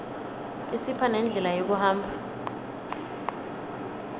isipha nendlela yekuhamba